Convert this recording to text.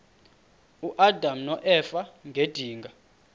uadam noeva ngedinga